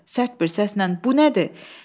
Sərt bir səslə, bu nədir?